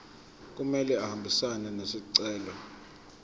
kumele ahambisane nesicelo